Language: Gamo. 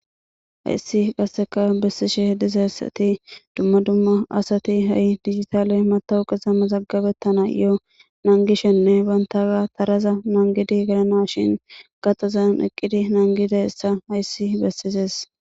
Hayssi qasseka bessishe h dizessati dumma dumma asati ha7i digitaale matawuqiza mazagabettana yo nangishenne bantaa taraza nangidi galana shin gaxazan eqqidi nangida essa hayssi bessises